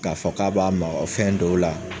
K'a fɔ k'a b'an ba o fɛn dɔw la.